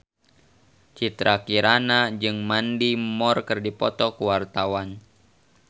Citra Kirana jeung Mandy Moore keur dipoto ku wartawan